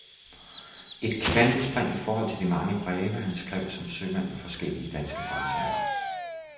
Et kvantespring i forhold til de mange breve, han skrev som sømand på forskellige danske fartøjer.